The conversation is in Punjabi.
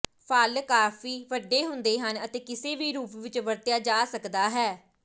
ਫਲ ਕਾਫੀ ਵੱਡੇ ਹੁੰਦੇ ਹਨ ਅਤੇ ਕਿਸੇ ਵੀ ਰੂਪ ਵਿਚ ਵਰਤਿਆ ਜਾ ਸਕਦਾ ਹੈ